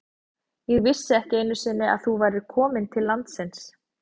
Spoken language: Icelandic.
Ég vissi ekki einu sinni að þú værir komin til landsins.